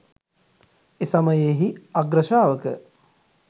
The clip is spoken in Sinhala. එසමයෙහි අග්‍රශාවක